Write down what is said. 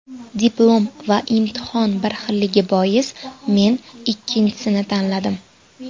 Diplom va imtihon bir xilligi bois, men ikkinchisini tanladim.